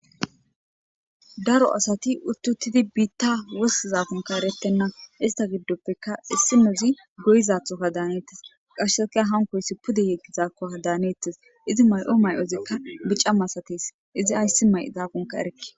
daro asati uttuttidi biitta wostizaakonka erettenna ista giddoppeka issimozi goyizathoka daanettes qasheseka hankoysi pude yeggi zaakkoka daanettes izi may7o may7ozikka bica masates izi ayssi may zaafunka erekke